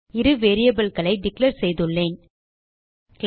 இரு variableகளை டிக்ளேர் செய்துள்ளேன் கிளாஸ்